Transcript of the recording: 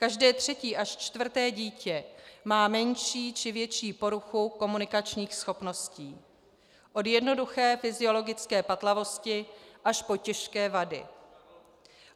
Každé třetí až čtvrté dítě má menší či větší poruchu komunikačních schopností, od jednoduché fyziologické patlavosti až po těžké vady.